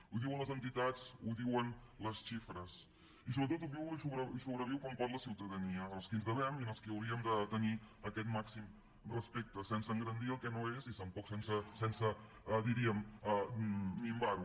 ho diuen les entitats ho diuen les xifres i sobretot ho viu i sobreviu com pot la ciutadania a qui ens devem i per qui hauríem de tenir aquest màxim respecte sense engrandir el que no és i tampoc sense diríem minvar ho